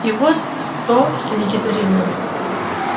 и вот то что никита ревел